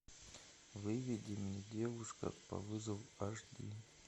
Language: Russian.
выведи мне девушка по вызову аш ди